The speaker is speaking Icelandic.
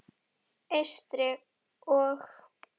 Eystri- og